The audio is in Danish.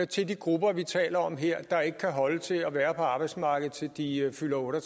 til de grupper vi taler om her der ikke kan holde til at være på arbejdsmarkedet til de fylder otte og